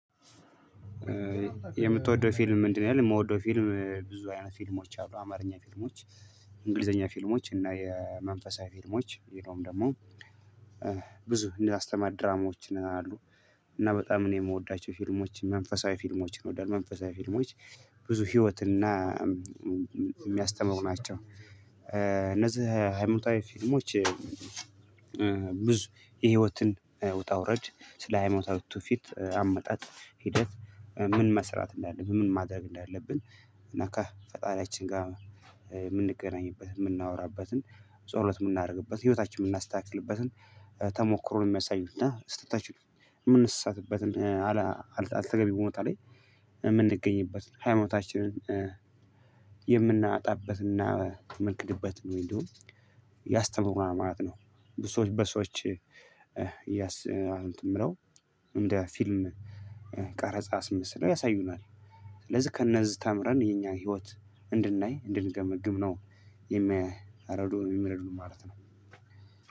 የምትወደው ፊልም ምንድነው? ያለው የምወደው ፊልም ብዙ አይነት ፊልሞች አሉ። አማርኛ ፊልሞች እንግሊዘኛ ፊልሞች እና የመንፈሳዊ ፊልሞች ይሄንን ደግሞ ብዙ እንዳስተማሪ ድራማዎች አሉ። እና በጣም እኔ የምወዳቸው ፊልሞች መንፈሳዊ ፊልሞች እወዳለሁ። መንፈሳዊ ፊልሞች ብዙ ህይወት እና የሚያስተምሩ ናቸው። እነዚህ ሃይማኖታዊ ፊልሞች። ብዙ የህይወትን ውጣ ውረድ ስለ ሃይማኖታዊ ቱፊት አመጣጥ ሂደት ምን መስራት እንዳለብን ምን ማድረግ እንዳለብን እና ከፈጣሪያችን ጋር የምንገናኝበት የምናወራበትን ጸሎት የምናደርግበት ህይወታችን የምናስተካክልበትን ተሞክሮ ነው። የሚያሳይንና ስህተታችን የምንሰሳትበትን አልተገቢ ቦታ ላይ የምንገኝበትን ሃይማኖታችንን የምናጣበትና የምንክድበት ወይም ደግሞ ያስተምሩናል ማለት ነው። ብዙ ሰዎች በሰዎች የምለው እንደ ፊልም ቀረጻ አስመስለው ያሳዩናል። ስለዚህ ከእነዚህ ተምረን የኛን ህይወት እንድናይ እንድንገመግም ነው የሚያረዱ ነው። የሚረዱ ማለት ነው።